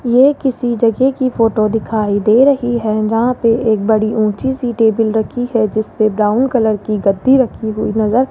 ये किसी जगह की फोटो दिखाई दे रही है जहां पे एक बड़ी ऊंची सी टेबल रखी है जिसपे ब्राउन कलर की गद्दी रखी हुई नजर --